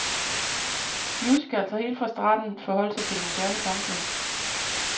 Musicals har helt fra starten forholdt sig til det moderne samfund.